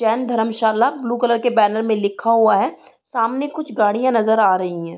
Jain Dharamshala blue colour के banner में लिक्खा हुआ है सामने कुछ गाडियां नजर आ रयीं है।